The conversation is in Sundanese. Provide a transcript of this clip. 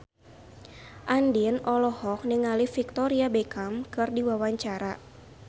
Andien olohok ningali Victoria Beckham keur diwawancara